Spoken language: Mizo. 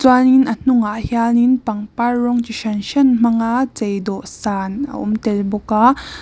a hnungah hianin pangpar rawng chi hran hran hmanga chei dawhsan a awm tel bawk a.